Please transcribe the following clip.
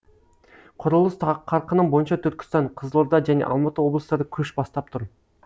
құрылыс қарқыны бойынша түркістан қызылорда және алматы облыстары көш бастап тұр